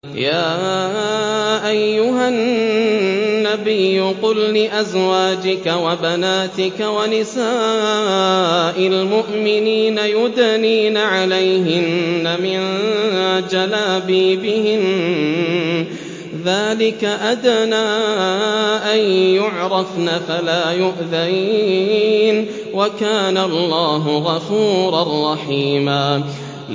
يَا أَيُّهَا النَّبِيُّ قُل لِّأَزْوَاجِكَ وَبَنَاتِكَ وَنِسَاءِ الْمُؤْمِنِينَ يُدْنِينَ عَلَيْهِنَّ مِن جَلَابِيبِهِنَّ ۚ ذَٰلِكَ أَدْنَىٰ أَن يُعْرَفْنَ فَلَا يُؤْذَيْنَ ۗ وَكَانَ اللَّهُ غَفُورًا رَّحِيمًا